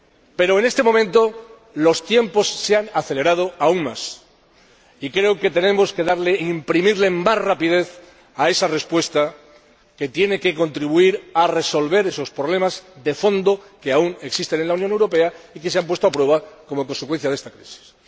Pero en este momento los tiempos se han acelerado aún más y creo que tenemos que imprimirle más rapidez a esa respuesta que tiene que contribuir a resolver esos problemas de fondo que aún existen en la Unión Europea y que se han puesto a prueba como consecuencia de esta crisis.